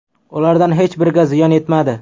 Ulardan hech biriga ziyon yetmadi.